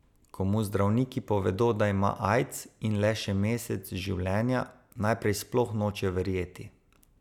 Ko mu zdravniki povedo, da ima aids in le še mesec življenja, najprej sploh noče verjeti.